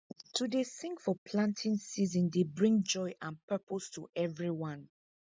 to dey sing for planting season dey bring joy and purpose to everyone